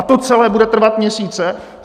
A to celé bude trvat měsíce?